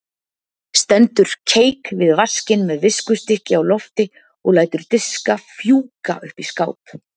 Stendur keik við vaskinn með viskustykki á lofti og lætur diska fjúka upp í skáp.